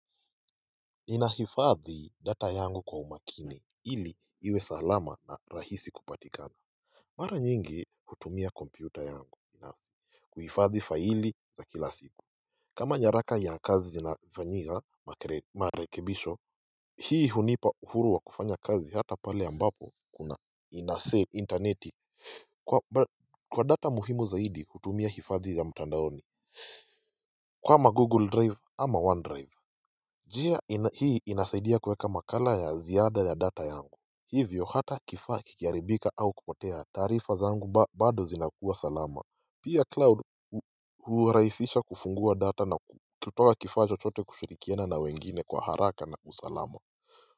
Inahifadhi data yangu kwa umakini ili iwe salama na rahisi kupatikana Mara nyingi hutumia kompyuta yangu na kuhifadhi faili za kila siku kama nyaraka ya kazi zinafanyika marekibisho Hii hunipa uhuru wa kufanya kazi hata pale ambapo kuna Inafee interneti kwa data muhimu zaidi hutumia hifadhi ya mtandaoni kama google drive ama one drive Jia hii inasaidia kuweka makala ya ziada ya data yangu Hivyo hata kifaa kikiharibika au kupotea taarifa zangu bado zinakuwa salama Pia cloud hurahisisha kufungua data na kutoa kifaa chochote kushirikiana na wengine kwa haraka na usalama.